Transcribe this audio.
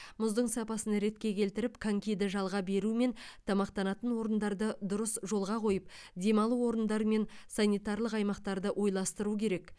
мұздың сапасын ретке келтіріп конькиді жалға беру мен тамақтанатын орындарды дұрыс жолға қойып демалу орындары мен санитарлық аймақтарды ойластыру керек